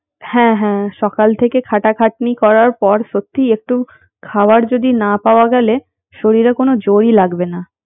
হ্যাঁ হ্যাঁ সকাল থেকে খাটা-খাটনি করার পর সত্যিই একটু খাওয়ার যদি না পাওয়া গেলে শরীরে কোনো জোরই লাগবে না